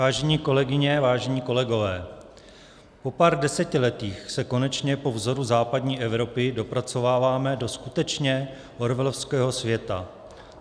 Vážené kolegyně, vážení kolegové, po pár desetiletích se konečně po vzoru západní Evropy dopracováváme do skutečně orwellovského světa.